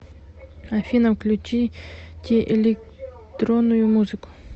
афина включите электронную музыку